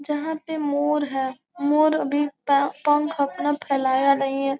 जहाँ पे मोर है मोर अभी अपना पंख फेलाया नहीं है।